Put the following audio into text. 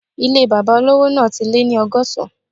Ilé bàbá olówò náà ti lé ní ọgọ́sán